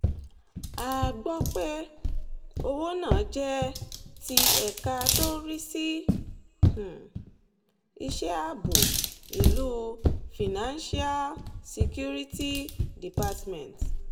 a gbọ́ pé owó náà jẹ́ ti ẹ̀ka tó ń rí sí um iṣẹ́ ààbò ìlú financial um security department